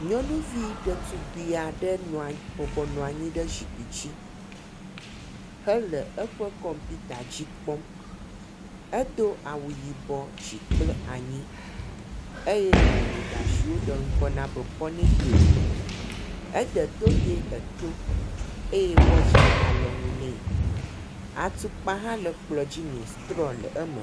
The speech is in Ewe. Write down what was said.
Nyɔnuvi ɖetugbi aɖe nɔ anyi ɖe bɔbɔnɔ anyi ɖe zikpui dzi hele eƒe kɔmputa dzi kpɔm. edo awu yibɔ dzi kple anyi eye wowɔ ɖa si woɖe ŋkɔ na be pɔniteo. Ede toge eto eye watsi le alɔnu nɛ.